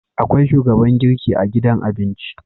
Akwai shugaban girki a gidan abinci